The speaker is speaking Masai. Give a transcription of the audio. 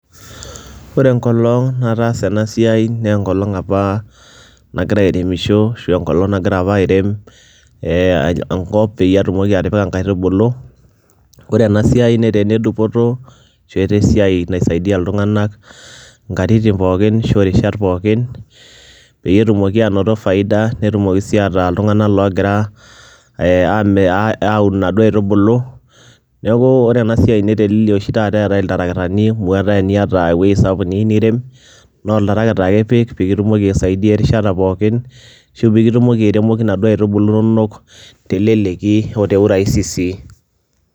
Ore enkolong' nataasa ena siai nee enkolong' apa nagira airemisho ashu enkolong' nagira apa airem ee enkop peyie atumoki atipika nkaitubulu. Kore ena siai netaa ene dupoto ashu etaa esiai naisaidia iltung'anak nkatitin pookin ashu rishat pookin peyie etumoki aanoto faida, netumoki sii ataa iltung'anak loogira aami aun aun naduo aitubulu. Neeku ore ena siai netelelia oshi taata eeta iltarakitani amu etaa eniata ewuei sapuk niyeu nirem naa oltarakita ake ipik pee kitumoki aisaidia erishata pookin ashu piikitumoki airemoki naduo aitubulu inonok te leleki o te urahisi sii.